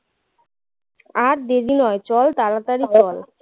আর দেরি নয় চল তাড়াতাড়ি চল